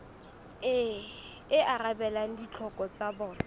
e arabelang ditlhoko tsa bona